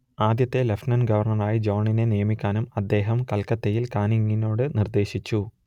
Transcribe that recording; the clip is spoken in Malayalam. ആദ്യത്തെ ലെഫ്റ്റനന്റ് ഗവർണറായി ജോണിനെ നിയമിക്കാനും അദ്ദേഹം കൽക്കത്തിയിൽ കാനിങ്ങിനോട് നിർദ്ദേശിച്ചു